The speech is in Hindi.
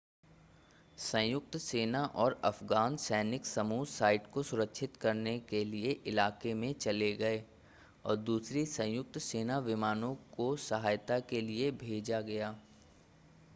संयुक्त सेना और अफगान सैनिक समूह साइट को सुरक्षित करने के लिए इलाके में चले गए और दूसरी संयुक्त सेना विमानों को सहायता के लिए भेजा गया